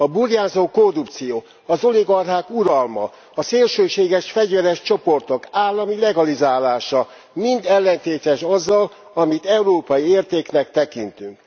A burjánzó korrupció, az oligarchák uralma, a szélsőséges fegyveres csoportok állami legalizálása mind ellentétes azzal, amit európai értéknek tekintünk.